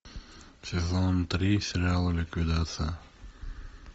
сезон три сериала ликвидация